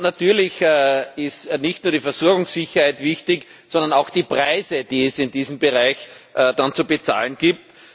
Natürlich ist nicht nur die Versorgungssicherheit wichtig, sondern auch die Preise, die es in diesem Bereich dann zu bezahlen gibt.